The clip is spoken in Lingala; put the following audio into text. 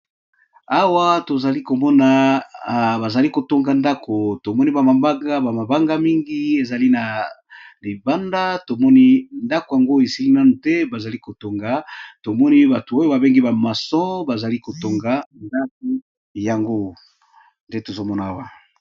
Awa tozalikomona bazali KO Tonga ndako tomoni ba mabanga mingi ezali na libanda tomoni ndako esili nanu te pe tomoni ba maçons bazali KO Tonga ndako yango nde tozomona Awa.